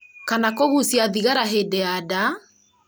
kana kũgucia thigara hĩndĩ ya nda